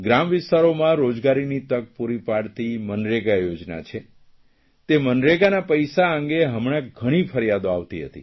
ગ્રામ વિસ્તારોમાં રોજગારીની તક પૂરી પાડતી મનરેગા યોજના છે તે મનરેગાના પૈસા અંગે હમણાં ઘણી ફરિયાદો આવતી હતી